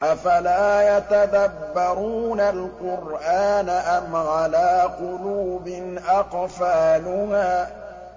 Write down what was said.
أَفَلَا يَتَدَبَّرُونَ الْقُرْآنَ أَمْ عَلَىٰ قُلُوبٍ أَقْفَالُهَا